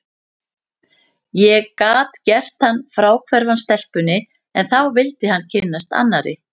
Ég gat gert hann fráhverfan stelpunni, en þá vildi hann kynnast annarri.